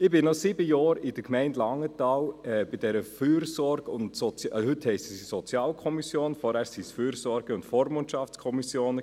» Ich war sieben Jahre in der Gemeinde Langenthal bei dieser Fürsorge- und Sozial…, heute heisst sie Sozialkommission, vorher waren es Fürsorge- und Vormundschaftskommissionen.